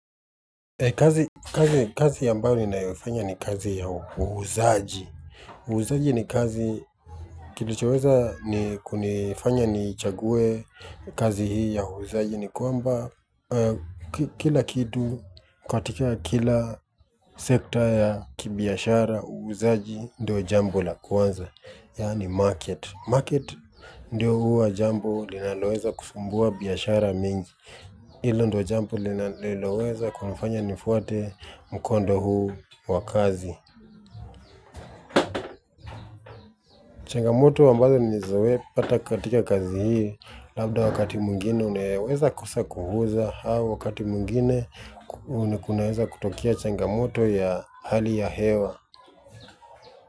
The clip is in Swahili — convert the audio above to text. Kazi ambayo ninayoifanya ni kazi ya uhuzaaji. Uuzaji ni kazi kilichoweza ni kunifanya ni chague kazi hii ya uuzaaji ni kwamba kila kitu katika kila sekta ya kibiashara uuuzaaji ndio jambo la kwanza. Yaani market, market ndio huwa jambo linaloweza kufumbua biashara mingi, hilo ndo jambo lina liloweza kunifanya nifuate mkondo huu wakazi. Changamoto ambazo nilizoea kupata katika kazi hii, labda wakati mwingine unaweza kosa kuuza, hau wakati mwingine ku kunaweza kutokea changamoto ya hali ya hewa.